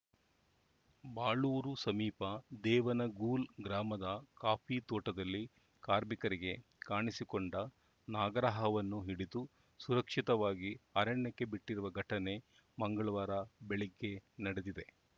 ಬಾಳೂರು ಸಮೀಪ ದೇವನಗೂಲ್‌ ಗ್ರಾಮದ ಕಾಫಿ ತೋಟದಲ್ಲಿ ಕಾರ್ಮಿಕರಿಗೆ ಕಾಣಿಸಿಕೊಂಡ ನಾಗರಹಾವನ್ನು ಹಿಡಿದು ಸುರಕ್ಷಿತವಾಗಿ ಅರಣ್ಯಕ್ಕೆ ಬಿಟ್ಟಿರುವ ಘಟನೆ ಮಂಗಳವಾರ ಬೆಳಗ್ಗೆ ನಡೆದಿದೆ